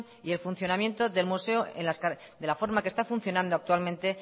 y el funcionamiento del museo de la forma que está funcionando actualmente